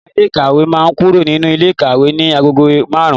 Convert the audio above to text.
Ọ̀gá ilé ìkàwé máa kúrò nínú ilé ikawe ní agogo márùn-ún.